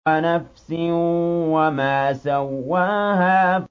وَنَفْسٍ وَمَا سَوَّاهَا